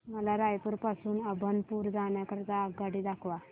मला रायपुर पासून अभनपुर जाण्या करीता आगगाडी दाखवा